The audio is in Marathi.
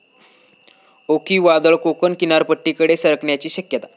ओखी वादळ कोकण किनारपट्टीकडे सरकण्याची शक्यता